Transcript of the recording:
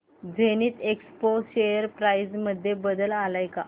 Zenith Expo share price मध्ये बदल आलाय का